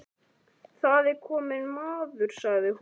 Það er kominn maður, sagði hún.